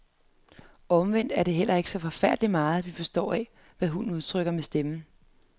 Omvendt er det heller ikke så forfærdelig meget, vi forstår af, hvad hunden udtrykker med stemmen.